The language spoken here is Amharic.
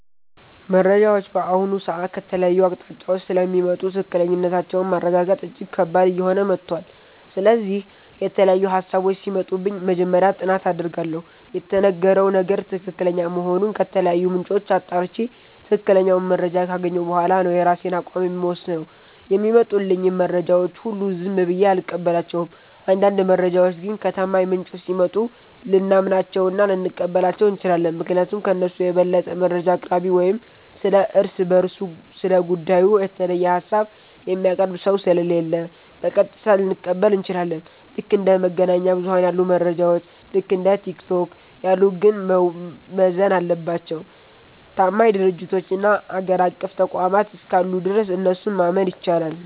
መረጃዎች በአሁኑ ሰዓት ከተለያዩ አቅጣጫዎች ስለሚመጡ ትክክለኛነታቸውን ማረጋገጥ እጅግ ከባድ እየሆነ መጥቷል። ስለዚህ፣ የተለያዩ ሃሳቦች ሲመጡብኝ መጀመሪያ ጥናት አደርጋለሁ። የተነገረው ነገር ትክክለኛ መሆኑን ከተለያዩ ምንጮች አጣርቼ፣ ትክክለኛውን መረጃ ካገኘሁ በኋላ ነው የራሴን አቋም የምወስነው። የሚመጡልኝን መረጃዎች ሁሉ ዝም ብዬ አልቀበላቸውም። አንዳንድ መረጃዎች ግን ከታማኝ ምንጮች ሲመጡ ልናምናቸውና ልንቀበላቸው እንችላለን። ምክንያቱም ከእነሱ የበለጠ መረጃ አቅራቢ ወይም ስለ እርስ በርሱ ስለ ጉዳዩ የተለየ ሃሳብ የሚያቀርብ ሰው ስለሌለ፣ በቀጥታ ልንቀበል እንችላለን። ልክ እንደ መገናኛ ብዙኃን ያሉ መረጃዎች፣ ልክ እንደ ቲክቶክ ያሉት ግን መመዘን የለባቸውም። ታማኝ ድርጅቶችና አገር አቀፍ ተቋማት እስካሉ ድረስ እነሱን ማመን ይቻላል።